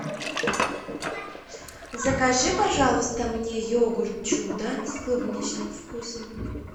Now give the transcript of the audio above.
закажи пожалуйста мне йогурт чудо с клубничным вкусом